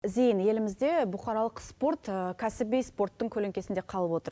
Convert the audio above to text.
зейін елімізде бұқаралық спорт кәсіби спорттың көлеңкесінде қалып отыр